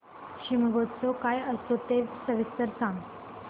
शिमगोत्सव काय असतो ते सविस्तर सांग